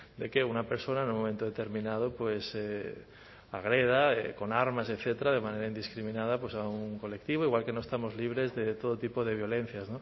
de que una persona en un momento determinado agreda con armas etcétera de manera indiscriminada a un colectivo igual que no estamos libres de todo tipo de violencias